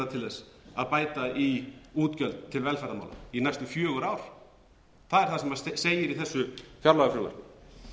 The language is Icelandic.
til þess að bæta í útgjöld til velferðarmála í næstum fjögur ár það er það sem segir í þessu fjárlagafrumvarpi